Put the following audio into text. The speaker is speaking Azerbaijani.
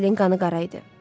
Vasilin qanı qara idi.